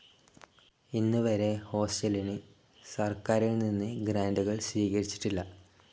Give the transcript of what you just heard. ഇന്നുവരെ, ഹോസ്റ്റലിന് സർക്കാരിൽനിന്ന് ഗ്രാൻറുകൾ സ്വീകരിച്ചിട്ടില്ല.